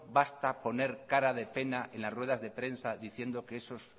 basta poner cara de pena en las ruedas de prensa diciendo que esos